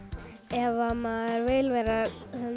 ef maður vill verða